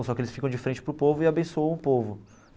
Só que eles ficam de frente para o povo e abençoam o povo.